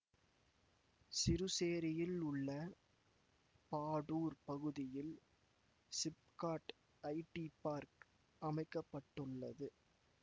சிறுசேரியில் உள்ள பாடூர் பகுதியில் SIPCOT IT park அமைக்க பட்டுள்ளது